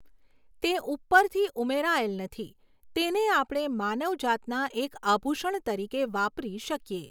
તે ઉ૫રથી ઉમેરાયેલ નથી તેને આપણે માનવ જાતના એક આભુષણ તરીકે વાપરી શકીએ.